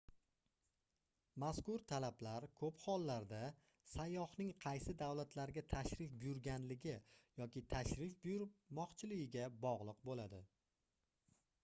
mazkur talablar koʻp hollarda sayyohning qaysi davlatlarga tashrif buyurganligi yoki tashrif buyurmoqchiligiga bogʻliq boʻladi